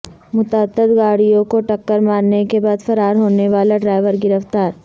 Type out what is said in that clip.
متعدد گاڑیوں کو ٹکر مارنے کے بعد فرار ہونے والا ڈرائیور گرفتار